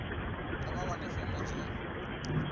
kha vha wane fomo dzo